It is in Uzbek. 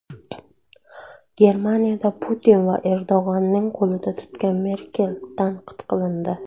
Germaniyada Putin va Erdo‘g‘onning qo‘lini tutgan Merkel tanqid qilindi.